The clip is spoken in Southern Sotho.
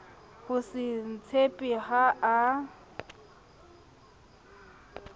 ho se itshepe ha a